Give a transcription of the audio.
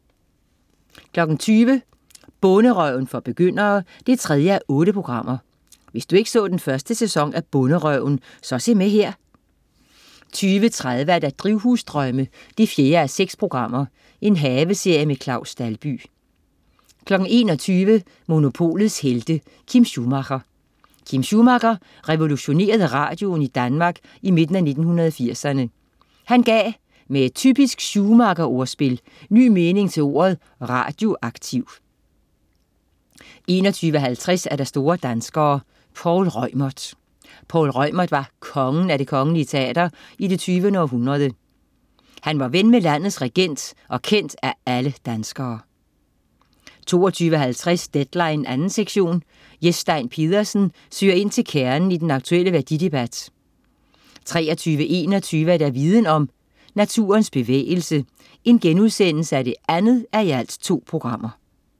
20.00 Bonderøven for begyndere 3:8. Hvis du ikke så første sæson af "Bonderøven", så se med her 20.30 Drivhusdrømme 4:6. Haveserie med Claus Dalby 21.00 Monopolets Helte. Kim Schumacher. Kim Schumacher revolutionerede radioen i Danmark i midten af 1980'erne. Han gav, med et typisk Schumacher-ordspil, ny mening til ordet radioaktiv 21.50 Store danskere. Poul Reumert. Poul Reumert var "kongen" af det Kongelige Teater i det 20. århundrede. Han var ven med landets regent, og kendt af alle danskere 22.50 Deadline 2. sektion. Jes Stein Pedersen søger ind til kernen i den aktuelle værdidebat 23.21 Viden Om. Naturens bevægelse 2:2*